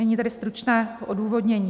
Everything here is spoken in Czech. Nyní tedy stručné odůvodnění.